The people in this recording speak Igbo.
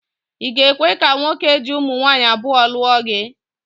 I ga-ekwe ka nwoke ji ụmụnwaanyị abụọ lụọ gị?